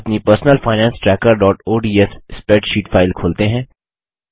अपनी personal finance trackerओडीएस spreadsheet file खोलते हैं